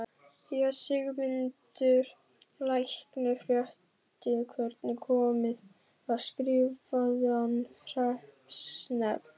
Þegar Sigmundur læknir frétti hvernig komið var skrifaði hann hreppsnefnd